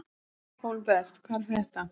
Hólmbert, hvað er að frétta?